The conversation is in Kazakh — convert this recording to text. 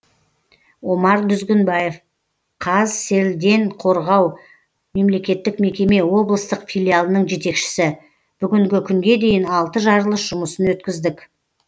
омар дүзгінбаев қазселденқорғау мемлекеттік мекеме облыстық филиалының жетекшісі бүгінгі күнге дейін алты жарылыс жұмысын өткіздік